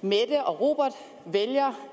mette og robert vælger